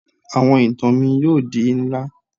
Awọn itan mi yoo di nla